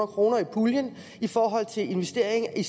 kroner i puljen i forhold til investering i